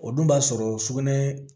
O dun b'a sɔrɔ sugunɛ